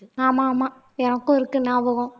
ஆமா ஆமா எனக்கும் இருக்கு ஞாபகம்